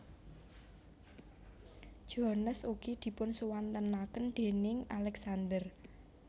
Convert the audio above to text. Jones ugi dipunsuwantenaken déning Alexander